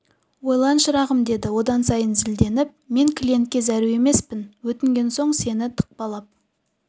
ойлан шырағым деді одан сайын зілденіп мен клиентке зәру емеспін өтінген соң сені тықпалап